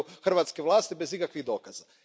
hrvatske vlasti bez ikakvih dokaza.